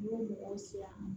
N b'o mɔgɔw siran